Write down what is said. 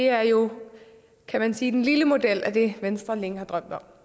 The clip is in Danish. er jo kan man sige den lille model af det venstre længe har drømt om